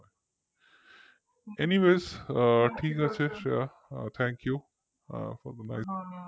anyways ঠিক আছে Shreya thank you for the night